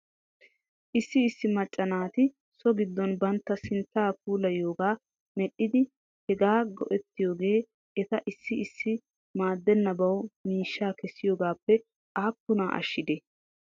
Issi issi macca naati so giddon bantta sinttaa puulayiyoogaa medhdhidi hegaa go'ettiyoogee eta issi issi maadenabawu miishshaa kessiyoogaappe aappunaa ashshidee?